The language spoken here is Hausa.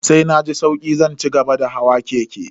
Sai na ji sauki zan cigaba da hawa keke.